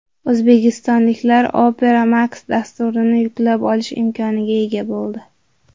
O‘zbekistonliklar Opera Max dasturini yuklab olish imkoniga ega bo‘ldi.